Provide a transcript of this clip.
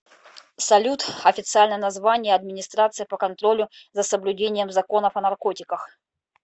салют официальное название администрация по контролю за соблюдением законов о наркотиках